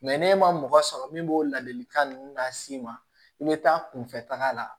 ne ma mɔgɔ sɔrɔ min b'o ladilikan ninnu las'i ma i bɛ taa kunfɛtaga la